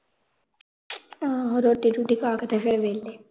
ਆਹੋ ਰੋਟੀ-ਰੂਟੀ ਪਾਕੇ ਤੇ ਫਿਰ ਵੇਹਲੇ